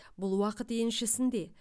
бұл уақыт еншісінде